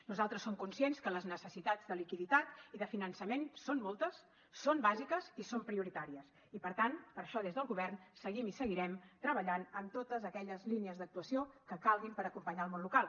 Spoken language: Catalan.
nosaltres som conscients que les necessitats de liquiditat i de finançament són moltes són bàsiques i són prioritàries i per tant per això des del govern seguim i seguirem treballant amb totes aquelles línies d’actuació que calguin per acompanyar el món local